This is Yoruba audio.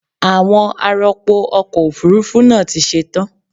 Àwọn ar'ọpò ọkọ̀ Òfurufú náà ti ṣe tán.